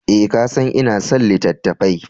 Eh, ka san ina son littattafai.